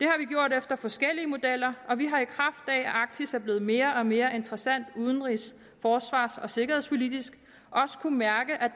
efter forskellige modeller og vi har i kraft af at arktis er blevet mere og mere interessant udenrigs forsvars og sikkerhedspolitisk kunnet mærke at